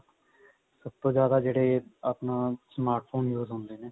ਸਭ ਤੋਂ ਜਿਆਦਾ ਜਿਹੜੇ smart phone use ਹੁੰਦੇ ਨੇ